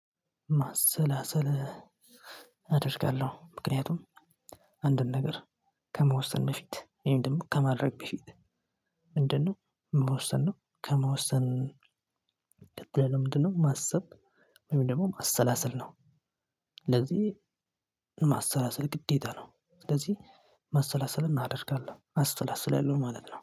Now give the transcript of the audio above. ማሰላሰል አደርጋለሁ። ምክንያቱም አንድን ነገር ከመወሰን በፊት ወይም ደግሞ ከማድረግ በፊት። ምንድነው መወሰን ነው። ከመወሰን ቀጥሎ ምንድነው ማሰብ ወይም ደግሞ ማሰላሰል ነው። ስለዚህ ማሰላሰል ግዴታ ነው። ስለዚህ ማሰላሰል አደርጋለሁ አሰላስላለሁ ማለት ነው